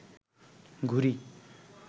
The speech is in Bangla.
ঘুড়ি